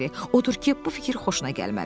Odur ki, bu fikir xoşuna gəlmədi.